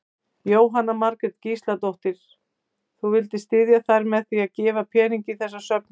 Jóhanna Margrét Gísladóttir: Þú vildir styðja þær með að gefa pening í þessa söfnun?